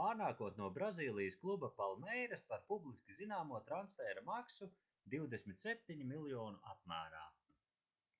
pārnākot no brazīlijas kluba palmeiras par publiski zināmo transfēra maksu £27 miljonu apmērā